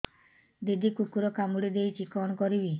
ଦିଦି କୁକୁର କାମୁଡି ଦେଇଛି କଣ କରିବି